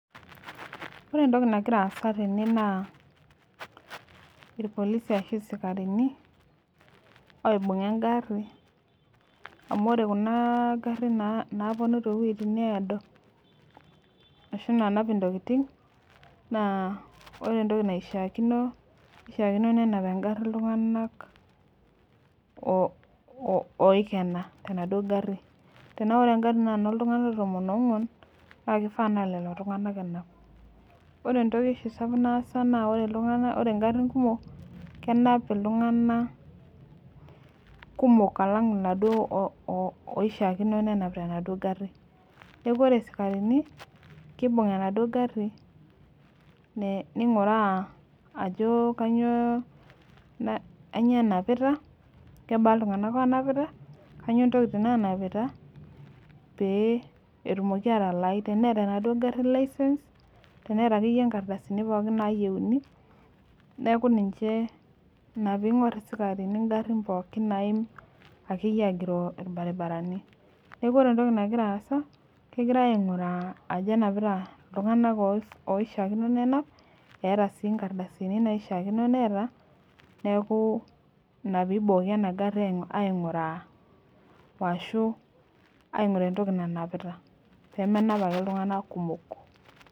Ore entoki nagira aasa tenewueji na irpolisi ashu isikarini oibunga engari amu ore kuna garin naponu tewoi naado ashu nanap ntokitin na ore entoki naishakino kishakino nenap oltungani oikena tenaduo gari tanaa ore engari na enoltunganak oikena ltunganak tomon onguan na lolo ake enap ore entoki oshibnaasa ore mgarin kumok kenap ltunganak kumok alang naduo oishakino penap enaduo gari neaku ore sikarini kibung enaduo gari ninguraa ajo nanyio enapita kebaa ltunganak onapita petumoki atalai teneeta akeyie nkardasini pooki nayieuni neaku ninche inapiingur isimarini ngarin pookin naaim ashu agiroo irbaribarani neaku ore entoki nagira aasa na kegirai ainguraa ajo enapita ltunganak oishaakino penap eeta si nkardasini naishaakino peeta neaku inapibooki enagari ainguraa ashu ainguraa entoki nanapita penap ake ltunganak kumok.